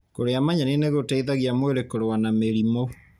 Kũrĩa manyeni nĩgũteithagia mwĩrĩ kũrũa na mĩrimũ.